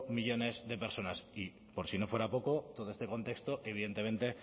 millónes de personas y por si no fuera poco todo este contexto evidentemente